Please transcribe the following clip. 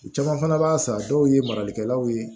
U caman fana b'a san dɔw ye maralikɛlaw ye